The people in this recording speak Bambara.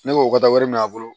Ne b'o ka wari minɛ a bolo